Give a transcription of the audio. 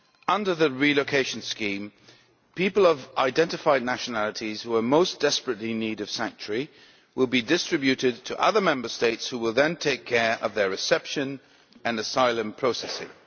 Under the relocation scheme, people of identified nationalities who are most desperately in need of sanctuary will be distributed to other Member States who will then take care of their reception and asylum processing.